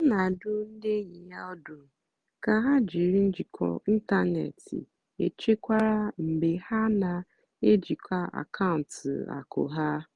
ọ́ nà-àdụ́ ndí ényì yá ọ́dụ́ kà hà jìrí njìkọ́ ị́ntánètị́ échékwárá mgbe hà nà-èjìkwá àkàụ́ntụ́ àkụ́ há.